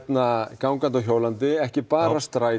gangandi og hjólandi ekki bara strætó